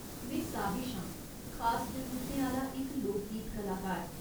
में साहिश आं, खास जरूरतें आह्‌ला इक लोकगीत कलाकार।